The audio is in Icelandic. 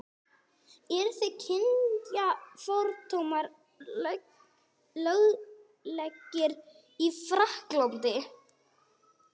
Eru kynþáttafordómar löglegir í Frakklandi?